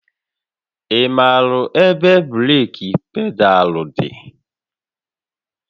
Ị maara ebe breeki pedaalụ dị?